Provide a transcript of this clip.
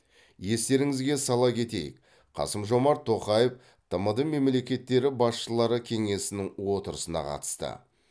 естеріңізге сала кетейік қасым жомарт тоқаев тмд мемлекеттері басшылары кеңесінің отырысына қатысты